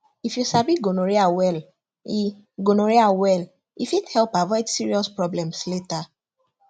if you sabi gonorrhea well e gonorrhea well e fit help avoid serious problems later